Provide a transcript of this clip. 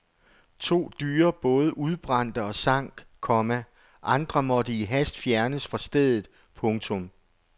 To dyre både udbrændte og sank, komma andre måtte i hast fjernes fra stedet. punktum